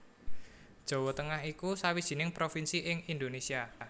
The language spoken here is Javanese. Jawa Tengah iku sawijining provinsi ing Indonésia